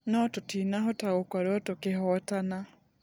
Nũ tũtinahota gũkorwo tũkĩhotana.